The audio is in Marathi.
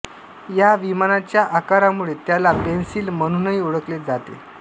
या विमानाच्या आकारामुळे त्याला पेन्सिल म्हणूनही ओळखले जाते